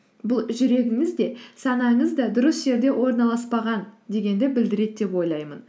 бұл жүрегіңіз де санаңыз да дұрыс жерде орналаспаған дегенді білдіреді деп ойлаймын